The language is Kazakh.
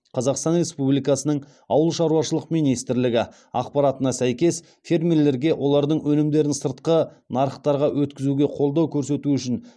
қазақстан республикасының ауыл шаруашылық министрлігі ақпаратына сәйкес фермерлерге олардың өнімдерін сыртқы нарықтарға өткізуде қолдау көрсету үшін